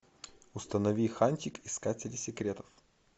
установи хантик искатели секретов